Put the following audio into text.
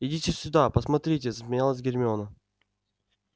идите сюда посмотрите засмеялась гермиона